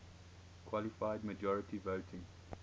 qualified majority voting